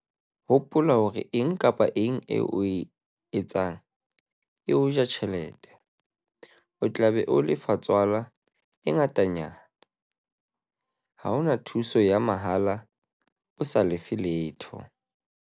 Hopola hore eng kapa eng eo o e etsang e o ja tjhelete - o tla be o lefa tswala e ngatanyana. Ha ho na thuso ya mahala o sa lefe letho.